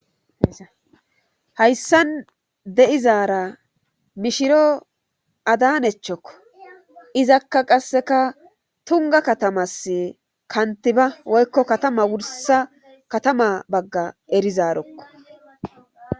hayssan deizaara mishiro adanechchokko izakka qasseka tunga katamas kantiba woykko katama wursa katama bagga erizaarekko